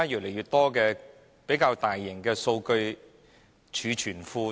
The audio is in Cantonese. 那較大型的數據儲存庫呢？